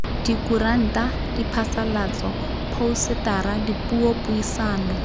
dikuranta diphasalatso phousetara dipuo dipuisano